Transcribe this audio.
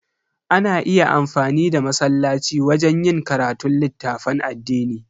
Ana iya amfani da masallaci wajen yin karatun littafan addini.